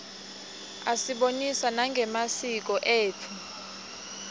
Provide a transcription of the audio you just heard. asibonisa nangemasiko etfu